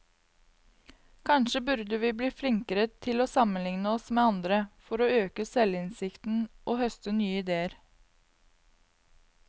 Kanskje burde vi bli flinkere til å sammenligne oss med andre, for å øke selvinnsikten og høste nye idéer.